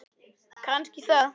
Kannski það.